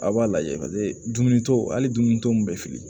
Aw b'a lajɛ paseke dumuni t'o hali dumuniko mun bɛ fili